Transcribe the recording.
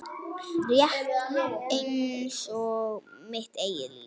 Rétt einsog mitt eigið líf.